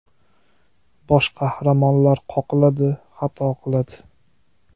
Bosh qahramonlar qoqiladi, xato qiladi.